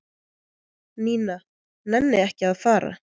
Nína nenni ekki að fara.